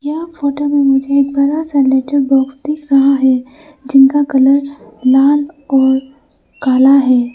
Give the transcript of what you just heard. यह फोटो में मुझे एक बड़ा सा लेटर बॉक्स दिख रहा है जिनका कलर लाल और काला है।